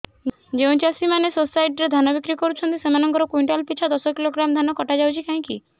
ଯେଉଁ ଚାଷୀ ମାନେ ସୋସାଇଟି ରେ ଧାନ ବିକ୍ରି କରୁଛନ୍ତି ସେମାନଙ୍କର କୁଇଣ୍ଟାଲ ପିଛା ଦଶ କିଲୋଗ୍ରାମ ଧାନ କଟା ଯାଉଛି କାହିଁକି